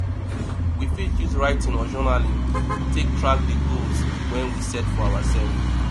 we fit use writing or journaling take track di goals wey we set for ourself